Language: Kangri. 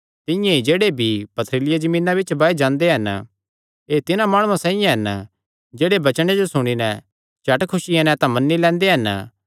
तिंआं ई जेह्ड़े बीई पथरीली जमीना बिच्च बाये जांदे हन एह़ तिन्हां माणुआं साइआं हन जेह्ड़े वचने जो सुणी नैं झट खुसिया नैं तां मन्नी लैंदे हन